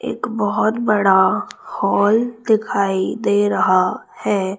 एक बहुत बड़ा हॉल दिखाई दे रहा है।